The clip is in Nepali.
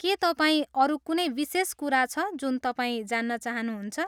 के तपाईँ अरू कुनै विशेष कुरा छ जुन तपाईँ जान्न चाहनुहुन्छ?